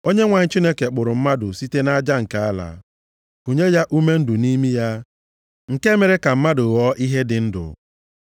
Onyenwe anyị Chineke kpụrụ mmadụ site nʼaja nke ala, kunye ya ume ndụ nʼimi ya, nke mere ka mmadụ ghọọ ihe dị ndụ.